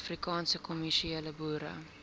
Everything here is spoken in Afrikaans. afrikaanse kommersiële boere